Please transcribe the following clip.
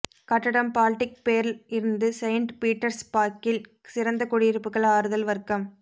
கட்டடம் Baltic pearl இருந்து saint பீட்டர்ஸ்பர்க்கில் சிறந்த குடியிருப்புகள் ஆறுதல் வர்க்கம்